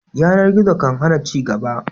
Yanar gizo kan hana ci gaba